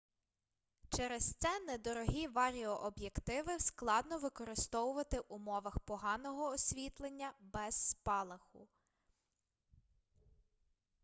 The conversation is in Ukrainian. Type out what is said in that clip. через це недорогі варіооб'єктиви складно використовувати в умовах поганого освітлення без спалаху